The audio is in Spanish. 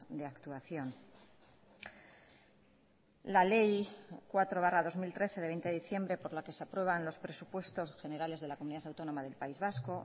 de actuación la ley cuatro barra dos mil trece de veinte de diciembre por la que se aprueban los presupuestos generales de la comunidad autónoma del país vasco